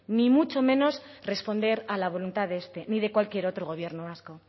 ni mucho menos responder a la voluntad de este ni de cualquier otro gobierno vasco